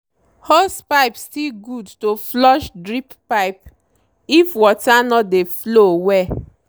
hosepipe still good to flush drip pipe if water no dey flow well.